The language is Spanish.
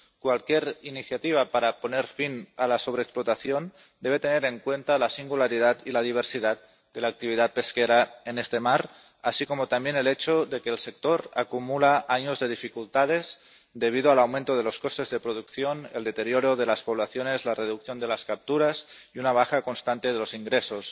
Cualquier iniciativa para poner fin a la sobreexplotación debe tener en cuenta la singularidad y la diversidad de la actividad pesquera en este mar, así como también el hecho de que el sector acumula años de dificultades, debido al aumento de los costes de producción, el deterioro de las poblaciones, la reducción de las capturas y una baja constante de los ingresos.